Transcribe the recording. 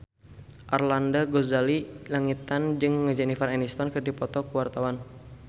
Arlanda Ghazali Langitan jeung Jennifer Aniston keur dipoto ku wartawan